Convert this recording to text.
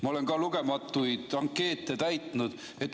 Ma olen ka ise lugematuid ankeete täitnud.